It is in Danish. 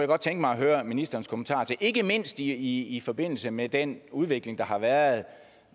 godt tænke mig at høre ministerens kommentarer til ikke mindst i i forbindelse med den udvikling der har været